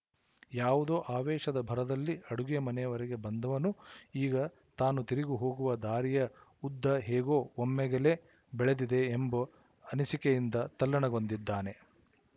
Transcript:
ಯಾವುದೋ ಆವೇಶದ ಭರದಲ್ಲಿ ಅಡುಗೆ ಮನೆಯವರೆಗೆ ಬಂದವನು ಈಗ ತಾನು ತಿರುಗಿ ಹೋಗುವ ದಾರಿಯ ಉದ್ದ ಹೇಗೋ ಒಮ್ಮೆಗೆಲೇ ಬೆಳೆದಿದೆ ಎಂಬ ಅನಿಸಿಕೆಯಿಂದ ತಲ್ಲಣಗೊಂಡಿದ್ದಾನೆ